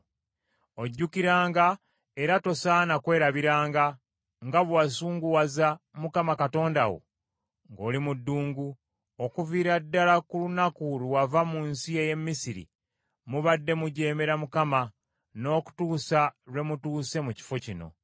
Ojjukiranga, era tosaana kwerabiranga, nga bwe wasunguwaza Mukama Katonda wo ng’oli mu ddungu. Okuviira ddala ku lunaku lwe wava mu nsi ey’e Misiri mubadde mujeemera Mukama n’okutuusa lwe mutuuse mu kifo kino.